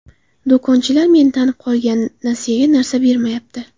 Do‘konchilar meni tanib qolgan, nasiyaga narsa bermayapti.